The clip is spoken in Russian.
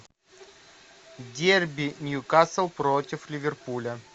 дерби ньюкасл против ливерпуля